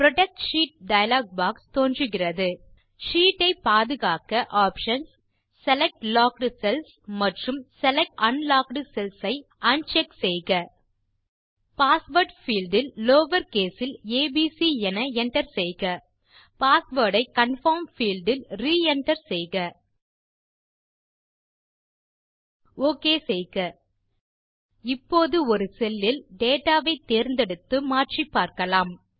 protect sheet dialog box தோன்றுகிறது sheet ஐ பாதுகாக்க ஆப்ஷன்ஸ் செலக்ட் லாக்ட் செல்ஸ் மற்றும் செலக்ட் அன்லாக்ட் செல்ஸ் ஐ un செக் செய்க பாஸ்வேர்ட் பீல்ட் இல் லவர் கேஸ் இல் ஏபிசி என enter செய்க பாஸ்வேர்ட் ஐ கன்ஃபர்ம் பீல்ட் இல் re என்டர் செய்க ஒக் செய்க இப்போது ஒரு செல்லில் டேட்டா வை தேர்ந்தெடுத்து மாற்றிப்பார்க்கலாம்